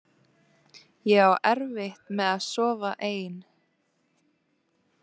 Ég á erfitt með að sofa ein.